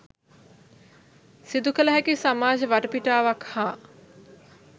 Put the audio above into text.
සිදුකළ හැකි සමාජ වටපිටාවක් හා